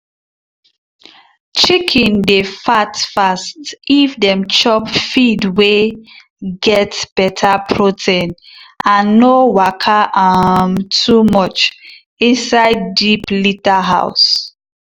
chicken dey fat fast if dem chop feed wey get better protein and no waka um too much inside deep litter house.